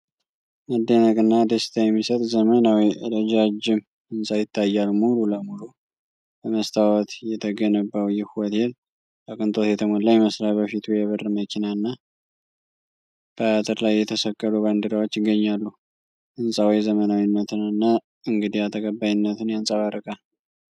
መደነቅና ደስታ የሚሰጥ ዘመናዊ ረጃጅም ህንፃ ይታያል። ሙሉ ለሙሉ በመስታወት የተገነባው ይህ ሆቴል በቅንጦት የተሞላ ይመስላል። በፊቱ የብር መኪና እና በአጥር ላይ የተሰቀሉ ባንዲራዎች ይገኛሉ። ህንፃው ዘመናዊነትንና እንግዳ ተቀባይነትን ያንጸባርቃል።